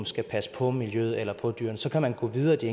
skal passe på miljøet eller på dyrene og så kan man gå videre i